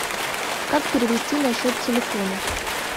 как перевести на счет телефона